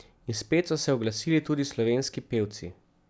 In spet so se oglasili tudi slovenski pevci.